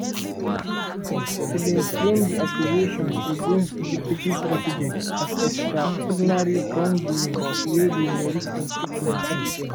e bin frame di accusations against di deputy president as "extraordinary" wrongdoing wey go merit impeachment.